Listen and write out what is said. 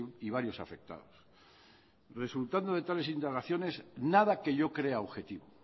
y varios afectados resultando de tales indagaciones nada que yo crea objetivo